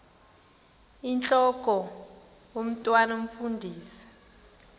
intlok omntwan omfundisi